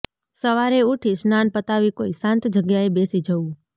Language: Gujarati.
સવારે ઉઠી સ્નાન પતાવી કોઈ શાંત જગ્યાએ બેસી જવું